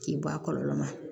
K'i bɔ a kɔlɔlɔ ma